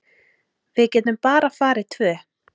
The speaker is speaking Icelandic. Við getum bara farið tvö.